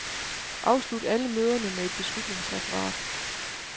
Afslut alle møderne med et beslutningsreferat.